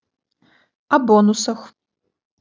о бонусах